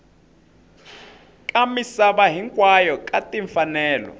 ka misava hinkwayo ka timfanelo